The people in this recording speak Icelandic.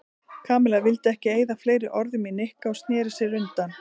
Kamilla vildi ekki eyða fleiri orðum í Nikka og snéri sér undan.